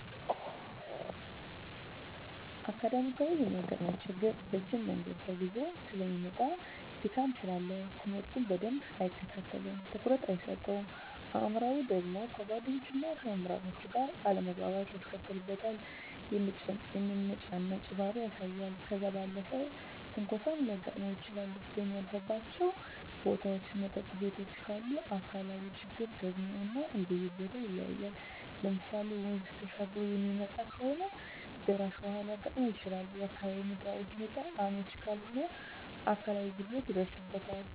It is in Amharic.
አካዳሚካያዊ የሚያጋጥመው ችግር ረጅም መንገድ ተጉዞ ሰለሚመጣ ድካም ስላለ ትምህርቱን በደንብ አይከታተለውም ትኩረት አይሰጠውም። አእምሯዊ ደግሞ ከጓደኞቹና ከመምህራን ጋር አለመግባባት ያስከትልበታል የመነጫነጭ ባህሪ ያሳያል። ከዛ ባለፈም ትንኮሳም ሊያጋጥም ይችላል በሚያልፍባቸው ቦታዎች መጠጥ ቤቶችም ካሉ። አካላዊ ችግሮች ደግሞ እንደየቦተው ይለያያል ለምሳሌ ወንዝ ተሻግሮ የሚመጣ ከሆነ ደራሽ ውሀ ሊያጋጥመው ይችላል፣ የአካባቢው ምድራዊ ሁኔታው አመች ካልሆነ አካላዊ ጉድለት ይደርስበታል።